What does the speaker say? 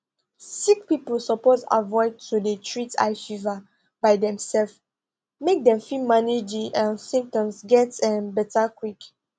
sick pipo suppose avoid to dey treat high fever by demself make dem fit manage di um symptoms get um beta quick